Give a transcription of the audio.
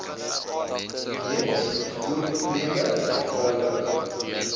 weens vervoerprobleme eenvoudig